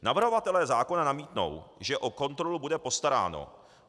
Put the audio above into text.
Navrhovatelé zákona namítnou, že o kontrolu bude postaráno.